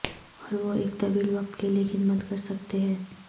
اور وہ ایک طویل وقت کے لئے خدمت کر سکتے ہیں